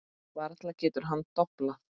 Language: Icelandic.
Varla getur hann doblað.